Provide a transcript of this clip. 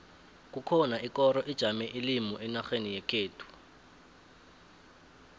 kukhona ikoro ijame ilimi enarheni yekhethu